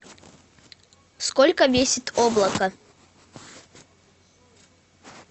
сколько весит облако